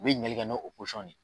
U bɛ ɲininkalikɛ n'o de ye.